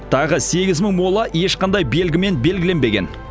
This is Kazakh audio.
тағы сегіз мың мола ешқандай белгімен белгіленбеген